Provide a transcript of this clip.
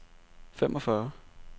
femogfyrre